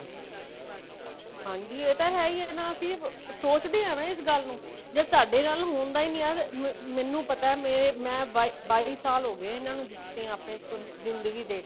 ਹਾਂਜੀ ਇਹ ਤਾਂ ਹੈ ਹੀ ਨਾ ਅਸੀਂ ਸੋਚਦੇ ਹਾਂ ਨਾ ਇਸ ਗੱਲ ਨੂੰ ਜੇ ਸਾਡੇ ਨਾਲ ਹੁੰਦਾ ਹੀ ਨਹੀਂ ਹੈ ਮੈਨੂੰ ਪਤਾ ਮੇਰੇ ਮੈਂ ਬਾਈ ਸਾਲ ਹੋਗੇ ਇਹਨਾ ਨੂੰ ਦਿੱਤੇ ਆਪਣੀ ਜਿੰਦਗੀ ਦੇ